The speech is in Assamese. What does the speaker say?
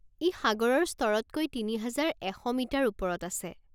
ই সাগৰৰ স্তৰতকৈ তিনি হাজাৰ এশ মিটাৰ ওপৰত আছে।